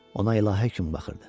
Ona ilahi kimi baxırdı.